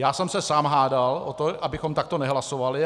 Já jsem se sám hádal o to, abychom takto nehlasovali.